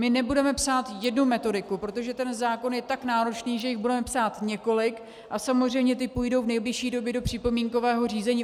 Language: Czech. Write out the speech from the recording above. My nebudeme psát jednu metodiku, protože ten zákon je tak náročný, že jich budeme psát několik, a samozřejmě ty půjdou v nejbližší době do připomínkového řízení.